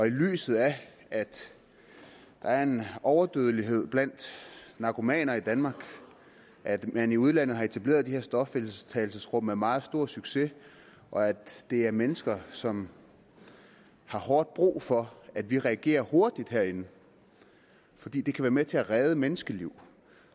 lyset af at der er en overdødelighed blandt narkomaner i danmark og at man i udlandet har etableret de her stofindtagelsesrum med meget stor succes og at det er mennesker som har hårdt brug for at vi reagerer hurtigt herinde fordi det kan være med til at redde menneskeliv